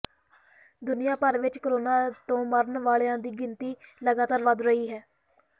ਦੁਨੀਆ ਭਰ ਵਿਚ ਕੋਰੋਨਾ ਤੋਂ ਮਰਨ ਵਾਲਿਆਂ ਦੀ ਗਿਣਤੀ ਲਗਾਤਾਰ ਵੱਧ ਰਹੀ ਹੈ